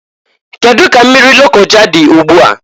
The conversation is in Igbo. Kedu ka mmiri Lokoja dị ụgbụa?